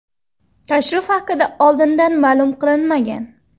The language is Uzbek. Tashrif haqida oldindan ma’lum qilinmagan.